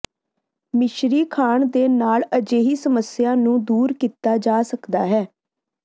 ਮਿਸ਼ਰੀ ਖਾਣ ਦੇ ਨਾਲ ਅਜਿਹੀ ਸਮੱਸਿਆ ਨੂੰ ਦੂਰ ਕੀਤਾ ਜਾ ਸਕਦਾ ਹੈ